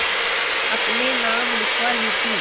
अपने नाम लिखवा ली थी